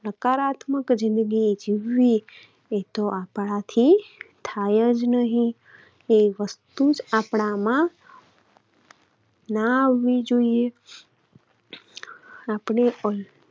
સકારાત્મક જિંદગી જીવવી એ તો આપણાથી થાય જ નહિ. તે વસ્તુ જ આપણામાં ના આવવી જોઈએ. આપણે પણ